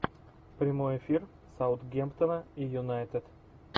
прямой эфир саутгемптона и юнайтед